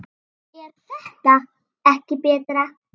er þetta ekki betra?